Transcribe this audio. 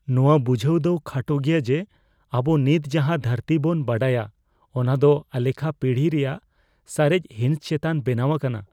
ᱱᱚᱶᱟ ᱵᱩᱡᱷᱟᱹᱣ ᱫᱚ ᱠᱷᱟᱴᱚ ᱜᱮᱭᱟ ᱡᱮ ᱟᱵᱚ ᱱᱤᱛ ᱡᱟᱦᱟ ᱫᱷᱟᱹᱨᱛᱤ ᱵᱚᱱ ᱵᱟᱰᱟᱭᱟ ᱚᱱᱟ ᱫᱚ ᱟᱞᱮᱠᱷᱟ ᱯᱤᱲᱦᱤ ᱨᱮᱭᱟᱜ ᱥᱟᱨᱮᱡ ᱦᱤᱸᱥ ᱪᱮᱛᱟᱱ ᱵᱮᱱᱟᱣ ᱟᱠᱟᱱᱟ ᱾